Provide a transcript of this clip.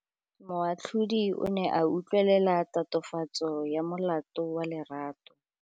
Moatlhodi o ne a utlwelela tatofatsô ya molato wa Lerato.